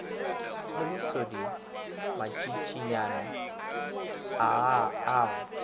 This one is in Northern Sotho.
le bosodi matšatšinyana a go